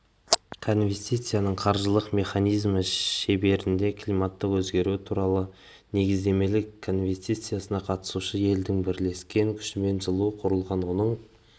конвенцияның қаржылық механизмі шеңберінде климаттың өзгеруі туралы негіздемелік конвенциясына қатысушы елдің бірлескен күшімен жылы құрылған оның